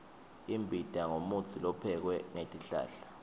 imbita ngumutsi lophekwe ngetihlahla